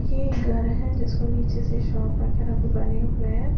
ये एक घर है जिसको नीचे से शॉप वगैरह भी बने हुए है।